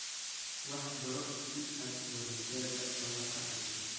Wax baro si aad waalidkaa uga farxiso